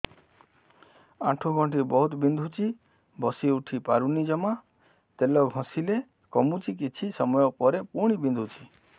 ଆଣ୍ଠୁଗଣ୍ଠି ବହୁତ ବିନ୍ଧୁଛି ବସିଉଠି ପାରୁନି ଜମା ତେଲ ଘଷିଲେ କମୁଛି କିଛି ସମୟ ପରେ ପୁଣି ବିନ୍ଧୁଛି